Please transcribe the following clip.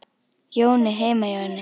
Jóni heima hjá henni.